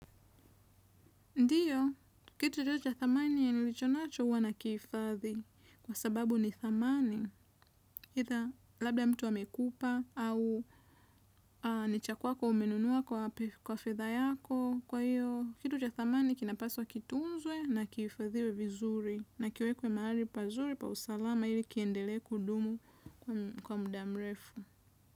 Ndiyo, kitu cha thamani ya nilichonacho huwa na kihifadhi kwa sababu ni thamani, labda mtu amekupa au nichakwako umenunua kwa fedha yako kwa hiyo, kitu cha thamani kinapaswa wa kitunzwe na kifadhiwe vizuri na kiwekwe mahali pazuri pa usalama ili kiendele kudumu kwa muda mrefu.